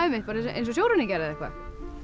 eins og sjóræningjar eða eitthvað já